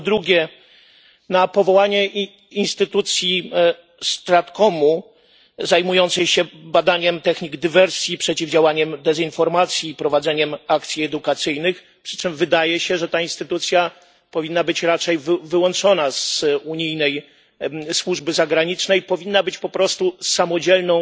Po drugie, na powołanie instytucji StratComu zajmującej się badaniem technik dywersji, przeciwdziałaniem dezinformacji, prowadzeniem akcji edukacyjnych, przy czym wydaje się, że ta instytucja powinna być raczej wyłączona z unijnej służby zagranicznej. Powinna być po prostu samodzielną